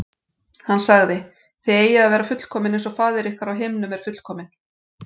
Hann sagði: Þið eigið að vera fullkomin eins og faðir ykkar á himnum er fullkominn.